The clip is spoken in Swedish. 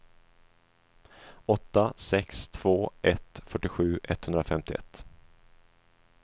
åtta sex två ett fyrtiosju etthundrafemtioett